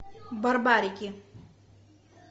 барбарики